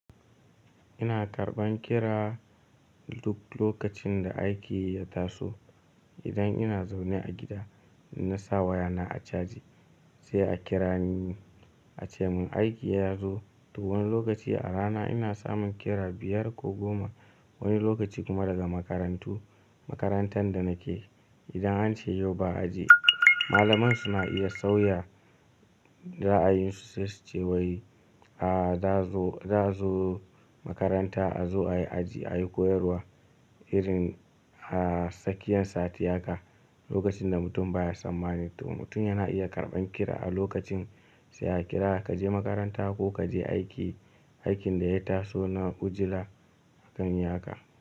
Ina karɓan kira, duk lokacin da aiki ya taso. Idan ina zaune a gida, na sa wayana a caji, sai a kirani, ace mun aiki ya zo. To wani lokaci a rana, ina samun kira biyar ko goma. Wani lokaci kuma daga makarantu, makarantan da nake, idan ance yau ba, aji, malaman su na iya sauya, ra'ayinsu sai su ce wai, ah, za a zo makaranta a zo ayi aji, ayi koyarwa irin a sakiyan sati haka, lokacin da mutum baya sammani. To mutum yana iya karɓan kira a lokacin, sai a kira ka je makaranta ko ka je aiki, aikin da ya taso na ujila, akan yi haka.